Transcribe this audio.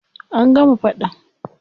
An gama faɗan.